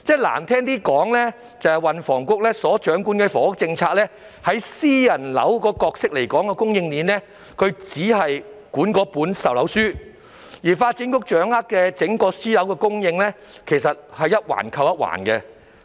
運輸及房屋局掌管房屋政策，就私樓供應鏈的角色而言，只是規管售樓書，而發展局則掌管整個私樓供應，其實是一環扣一環。